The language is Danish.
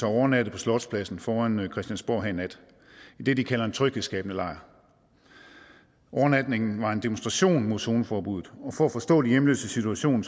overnattet på slotspladsen foran christiansborg her i nat i det de kalder en tryghedsskabende lejr overnatningen var en demonstration mod zoneforbuddet for at forstå de hjemløses situation